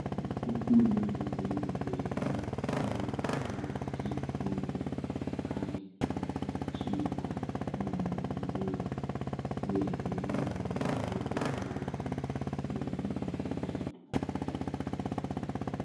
Opuonjo nyithindo wer ma dhogi en Kikongo, kae to ochiko mondo giwer wer miluongo ni "Five Little Monkey Jumping on The Bed".